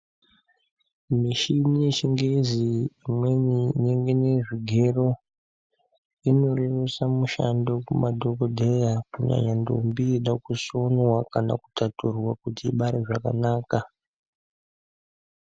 Mishini yechingezi imweni imwengenye zvigero inorerutsa mushando kumadhokodheya kunyanya ndombi dzakushonwa kana kudhadhurwa kuti dzibare zvakanaka.